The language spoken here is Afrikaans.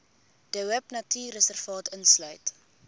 de hoopnatuurreservaat insluit